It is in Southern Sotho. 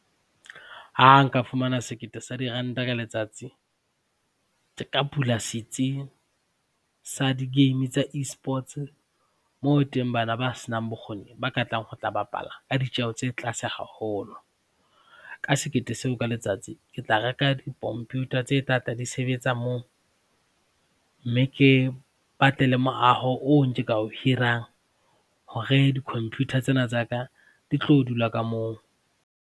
Ha nka fumana sekete sa diranta ka letsatsi ke ka bula setsi sa digame tsa E-sports moo teng bana ba senang bokgoni ba ka tlang ho tla bapala ka ditjeho tse tlaase haholo. Ka sekete seo ka letsatsi ke tla reka di-computer tse tlatla di sebetsa moo mme ke batle le moaho oo nke ka o hirang hore di-computer tsena tsa ka di tlo dula ka moo.